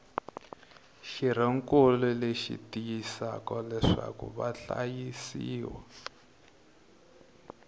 xirhonkulu leyi tiyisisaka leswaku vahlayisiwa